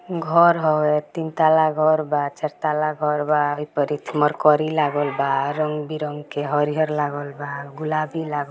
घर है तीन तल्ला घर बा चार तल्ला घर बा हय पर एक मरकरी लागल बा रंग-बिरंग के हरीहर लागल बा गुलाबी लागल --